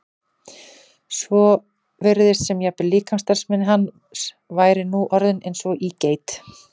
svo virtist sem jafnvel líkamsstarfsemi hans væri nú orðin eins og í geit.